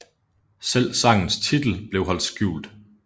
Selv sangens titel blev holdt skjult